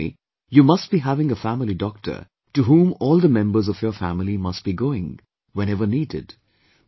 You tell me, you must be having a family doctor to whom all the members of your family must be going whenever needed